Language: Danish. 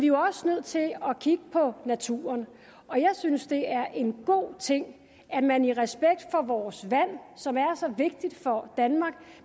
jo også nødt til at kigge på naturen og jeg synes at det er en god ting at man i respekt for vores vand som er så vigtigt for danmark